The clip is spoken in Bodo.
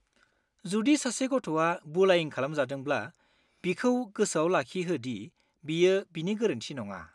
जुदि सासे गथ'आ बुलायिं खालामजादोंब्ला, बिखौ गोसोआव लाखिहो दि बेयो बिनि गोरोन्थि नङा।